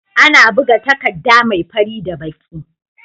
Ana buga takadda me fari da baki